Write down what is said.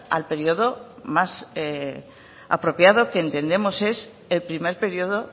al periodo más apropiado que entendemos es el primer periodo